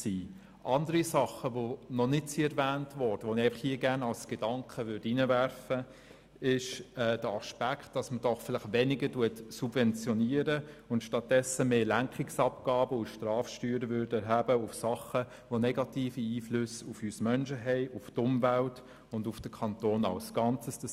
Andere Dinge, die bisher noch nicht erwähnt worden sind, und zu denen ich gerne einen Gedanken einbringen möchte, betreffen den Aspekt, weniger zu subventionieren und stattdessen mehr Lenkungsabgaben und Strafsteuern auf Dingen zu erheben, die negative Einflüsse auf uns Menschen, die Umwelt und den Kanton als Ganzes haben.